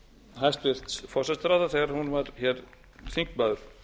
hæstvirts forsætisráðherra þegar hún var hér þingmaður